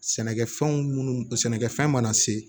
Sɛnɛkɛfɛnw munnu sɛnɛkɛfɛn mana se